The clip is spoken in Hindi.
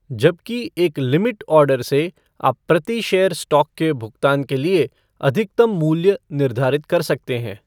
जबकि एक लिमिट ऑर्डर से आप प्रति शेयर स्टॉक के भुगतान के लिए अधिकतम मूल्य निर्धारित कर सकते हैं।